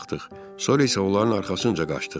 Sonra isə onların arxasınca qaçdıq.